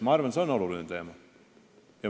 Ma arvan, et see on oluline teema.